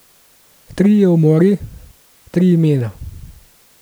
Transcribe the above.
Trije umori, tri imena.